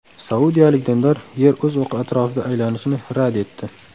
Saudiyalik dindor Yer o‘z o‘qi atrofida aylanishini rad etdi.